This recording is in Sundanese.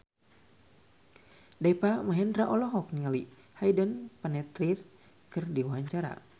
Deva Mahendra olohok ningali Hayden Panettiere keur diwawancara